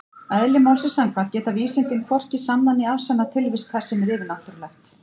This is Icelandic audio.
Eðli málsins samkvæmt geta vísindin hvorki sannað né afsannað tilvist þess sem er yfirnáttúrulegt.